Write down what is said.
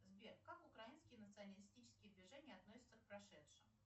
сбер как украинские националистические движения относятся к прошедшему